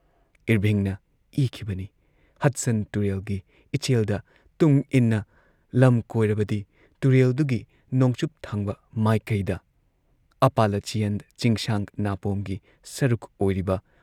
ꯢꯔꯚꯤꯡꯅ ꯏꯈꯤꯕꯅꯤ ꯍꯗꯁꯟ ꯇꯨꯔꯦꯜꯒꯤ ꯏꯆꯦꯜꯗ ꯇꯨꯡ ꯏꯟꯅ ꯂꯝ ꯀꯣꯏꯔꯕꯗꯤ, ꯇꯨꯔꯦꯜꯗꯨꯒꯤ ꯅꯣꯡꯆꯨꯞꯊꯪꯕ ꯃꯥꯏꯀꯩꯗ ꯑꯄꯥꯂꯆꯤꯌꯥꯟ ꯆꯤꯡꯁꯥꯡ ꯅꯥꯄꯣꯝꯒꯤ ꯁꯔꯨꯛ ꯑꯣꯏꯔꯤꯕ